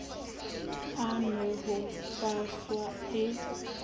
a nwe ho faswa e